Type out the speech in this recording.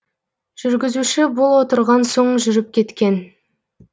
жүргізуші бұл отырған соң жүріп кеткен